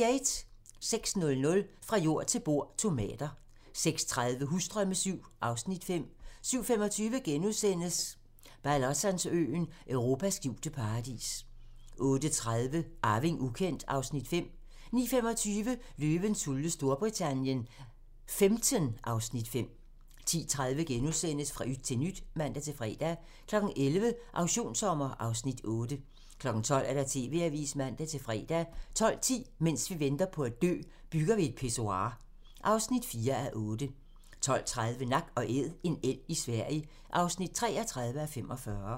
06:00: Fra jord til bord: Tomater 06:30: Husdrømme VII (Afs. 5) 07:25: Balatonsøen: Europas skjulte paradis * 08:30: Arving ukendt (Afs. 5) 09:25: Løvens hule Storbritannien XV (Afs. 5) 10:30: Fra yt til nyt *(man-fre) 11:00: Auktionssommer (Afs. 8) 12:00: TV-avisen (man-fre) 12:10: Mens vi venter på at dø - Bygger vi et pissoir (4:8) 12:30: Nak & Æd - en elg i Sverige (33:45)